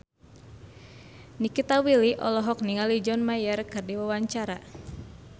Nikita Willy olohok ningali John Mayer keur diwawancara